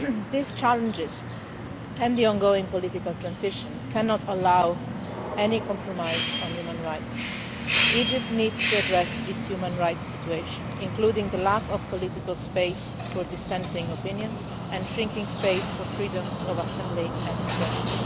These challenges and the ongoing political transition cannot allow any compromise on human rights. Egypt needs to address its human rights situation, including the lack of political space for dissenting opinion and shrinking space for freedoms of assembly and expression.